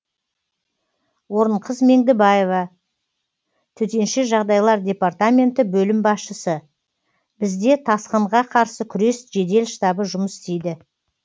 орынқыз меңдібаева төтенше жағыдай департаменті бөлім басшысы бізде тасқынға қарсы күрес жедел штабы жұмыс істейді